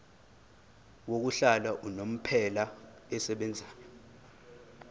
yokuhlala unomphela esebenzayo